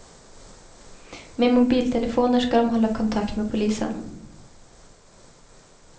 Med mobiltelefoner ska de hålla kontakt med polisen.